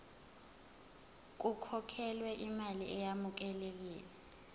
kukhokhelwe imali eyamukelekile